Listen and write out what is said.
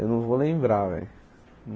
Eu não vou lembrar, velho.